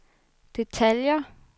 detaljer